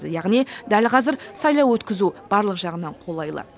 яғни дәл қазір сайлау өткізу барлық жағынан қолайлы